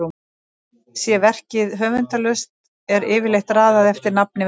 Sé verkið höfundarlaust er yfirleitt raðað eftir nafni verksins.